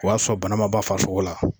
O y'a sɔrɔ bana ma ban farasogo la